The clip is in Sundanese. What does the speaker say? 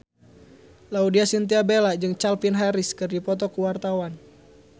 Laudya Chintya Bella jeung Calvin Harris keur dipoto ku wartawan